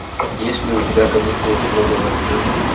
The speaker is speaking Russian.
есть ли у тебя каникулы строгого режима